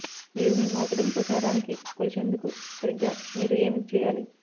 మీరు మీ మార్కెటింగ్ ప్రచారానికి కొలిచేందుకు సరిగ్గా మీరు ఏమి చేయాలి